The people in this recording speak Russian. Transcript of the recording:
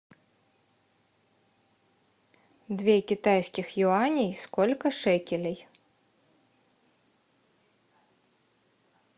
две китайских юаней сколько шекелей